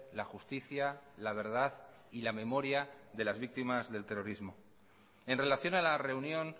la justicia la verdad y la memoria de las víctimas del terrorismo en relación a la reunión